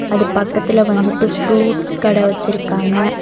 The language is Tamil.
அது பக்கத்துல வந்துட்டு ஃப்ரூட்ஸ் கட வெச்சிருக்காங்க.